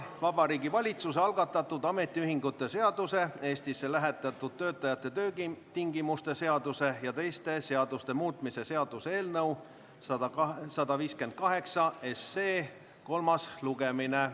Vabariigi Valitsuse algatatud ametiühingute seaduse, Eestisse lähetatud töötajate töötingimuste seaduse ja teiste seaduste muutmise seaduse eelnõu 158 kolmas lugemine.